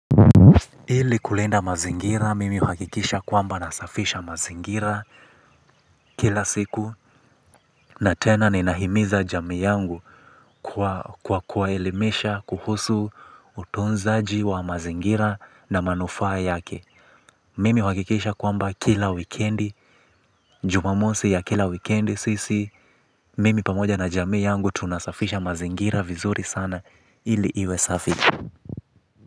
Ili kulinda mazingira, mimi huhakikisha kwamba nasafisha mazingira kila siku na tena ninahimiza jamii yangu kwa kuwaelimisha kuhusu utunzaji wa mazingira na manufaa yake. Mimi huhakikisha kwamba kila wikendi, jumamosi ya kila wikendi sisi, mimi pamoja na jamii yangu tunasafisha mazingira vizuri sana ili iwe safi.